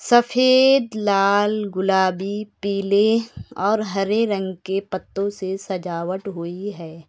सफेद लाल गुलाबी पीले और हरे रंग के पत्तों से सजावट हुई है।